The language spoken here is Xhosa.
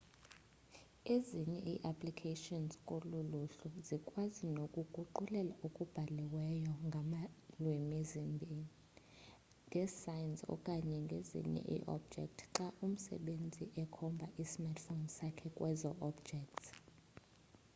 ezinye i applications kolu luhlu zikwazi nokuguqulela okubhaliweyo ngalwimi zimbi ngesayns okanye ezinye iiobjects xa umsebenzisi ekhomba ismartphone sakhe kwezo objects